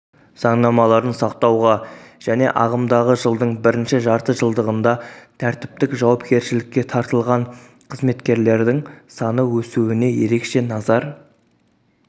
заңнамаларын сақтауға және ағымдағы жылдың бірінші жартыжылдығында тәртіптік жауапкершілікке тартылған қызметкерлердің саны өсуне ерекше назар